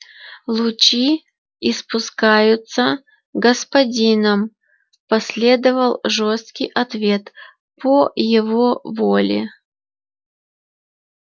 лучи испускаются господином последовал жёсткий ответ по его воле